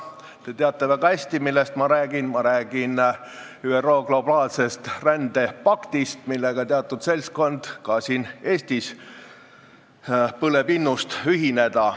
Te teate väga hästi, millest ma räägin – ma räägin ÜRO globaalsest rändepaktist, millega ühinemise innust põleb ka teatud seltskond siin Eestis.